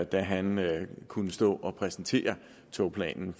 da han kunne stå og præsentere togplanen